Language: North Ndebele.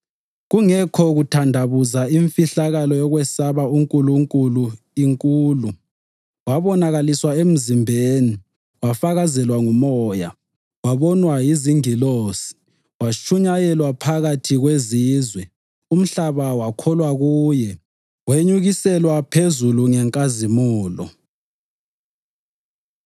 Kungekho kuthandabuza imfihlakalo yokwesaba uNkulunkulu inkulu: Wabonakaliswa emzimbeni, wafakazelwa nguMoya, wabonwa yizingilosi, watshunyayelwa phakathi kwezizwe, umhlaba wakholwa kuye, wenyukiselwa phezulu ngenkazimulo.